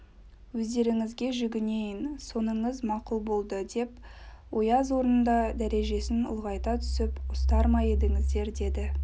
өздеріңізге жүгінейін соныңыз мақұл болды деп ояз орнында дәрежесін ұлғайта түсіп ұстар ма едіңіздер деді